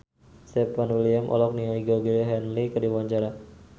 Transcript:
Stefan William olohok ningali Georgie Henley keur diwawancara